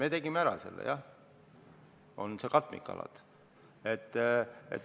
Me tegime selle ära, see on see katmikalade teema.